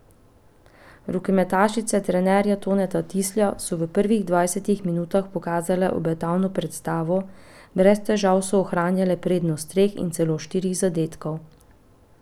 Rokometašice trenerja Toneta Tislja so v prvih dvajsetih minutah pokazale obetavno predstavo, brez težav so ohranjale prednost treh in celo štirih zadetkov.